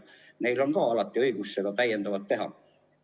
Neil on alati õigus teha rohkem kui riik.